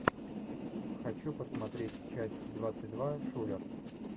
хочу посмотреть часть двадцать два шулер